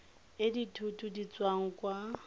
e dithoto di tswang kwa